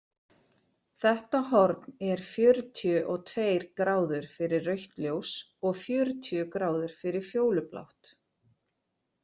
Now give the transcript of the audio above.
Þetta horn er fjörutíu og tveir gráður fyrir rautt ljós og fjörutíu gráður fyrir fjólublátt.